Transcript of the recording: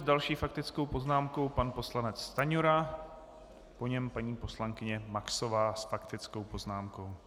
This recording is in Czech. S další faktickou poznámkou pan poslanec Stanjura, po něm paní poslankyně Maxová s faktickou poznámkou.